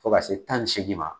Fo ka se tan ni seegin ma